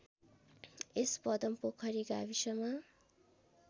यस पदमपोखरी गाविसमा